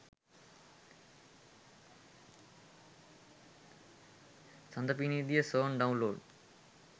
sada pinidiya song download